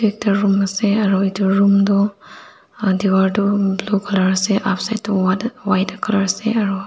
ekta room asae aro etu room toh em diwar toh blue colour upside toh whatt white colour asae aroo.